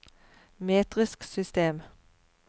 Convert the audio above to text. metrisk system